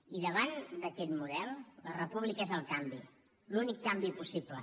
i davant d’aquest model la república és el canvi l’únic canvi possible